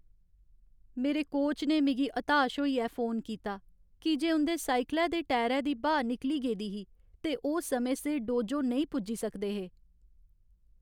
मेरे कोच ने मिगी हताश होइयै फोन कीता की जे उं'दे साइकलै दे टायरे दी ब्हाऽ निकली गेदी ही ते ओह् समें सिर डोजो नेईं पुज्जे सकदे हे।